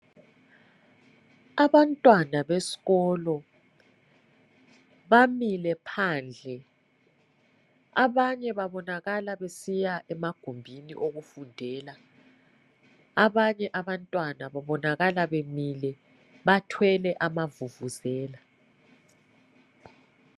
Abantwana besikolo bamile phandle abanye babonakala besiya emagumbini okufundela ,abanye abantwana babonakala bemile bathwele amavuvuzela.